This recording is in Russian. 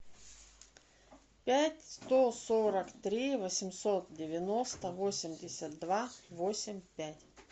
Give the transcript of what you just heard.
пять сто сорок три восемьсот девяносто восемьдесят два восемь пять